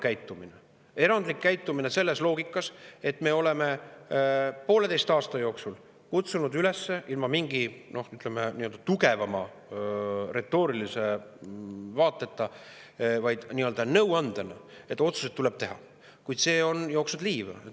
Meie erandlik käitumine selles loogikas, et me oleme pooleteise aasta jooksul kutsunud üles ilma mingi, ütleme, tugevama retoorilise vaateta, ainult nii-öelda nõuandena, et otsused tuleb ära teha, on jooksnud liiva.